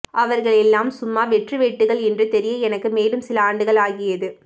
அவர்களெல்லாம் சும்மா வெற்றுவேட்டுக்கள் என்று தெரிய எனக்கு மேலும் சில ஆண்டுகள் ஆகியது